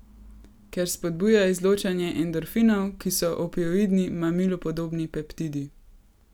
Ker spodbuja izločanje endorfinov, ki so opioidni, mamilu podobni peptidi.